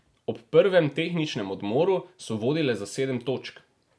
Ob prvem tehničnem odmoru so vodile za sedem točk.